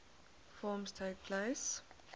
forms takes place